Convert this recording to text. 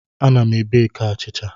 Ana m beki achịcha.